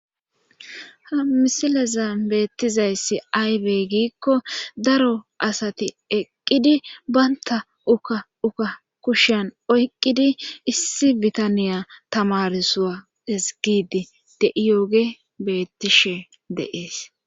ha misilezan beettizayssi aybe giikko daro asati eqqidi banta ukka uka kushiyan oyqqidi issi bitaniya tamarsuwa ezigidi de7iyooge bettishe deees